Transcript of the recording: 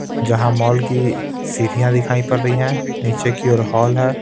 जहाँ मॉल की सीढ़ियां दिखाई पड़ रही हैं नीचे की ओर हॉल है.